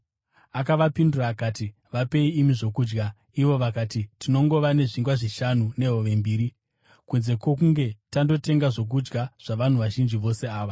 Akavapindura akati, “Vapei imi zvokudya.” Ivo vakati, “Tinongova nezvingwa zvishanu nehove mbiri, kunze kwokunge tandotenga zvokudya zvavanhu vazhinji vose ava.”